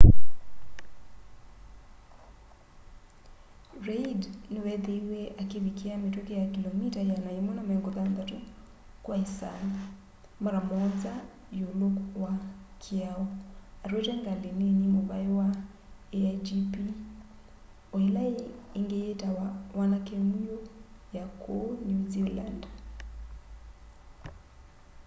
reid niweethiiwe akivikia mituki ya kilomita 160 kwa isaa mara muonza iulu wa kiao atwaite ngali nini muvai wa aigp o ila ingi yitawa wanake mwiu ya ku new zealand